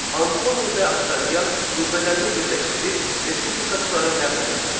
Antoni və Oktavian qüvvələrini birləşdirib respublikaçıları məğlub etdilər.